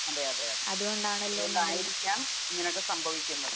അതെ, അതെ, അതെ. അതുകൊണ്ടായിരിക്കാം ഇനങ്ങനെയൊക്കെ സംഭവിക്കുന്നത് .